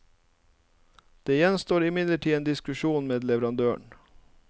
Det gjenstår imidlertid en diskusjon med leverandøren.